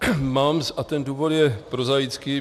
Mám a ten důvod je prozaický.